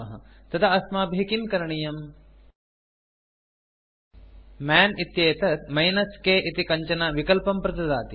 तदा अस्माभिः किं करणीयम् मन् इत्येतत् -k इति कञ्चन विकल्पं प्रददाति